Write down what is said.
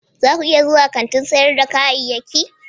za ku iya zuwa kantin sayar da kayayyaki?